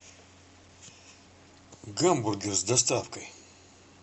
гамбургер с доставкой